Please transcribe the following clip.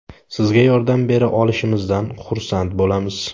Sizga yordam bera olishimizdan xursand bo‘lamiz.